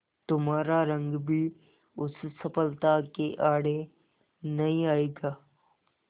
तुम्हारा रंग भी उस सफलता के आड़े नहीं आएगा